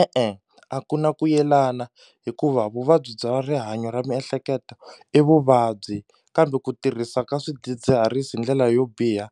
E-e, a ku na ku yelana hikuva vuvabyi bya rihanyo ra miehleketo i vuvabyi kambe ku tirhisa ka swidzidziharisi hi ndlela yo biha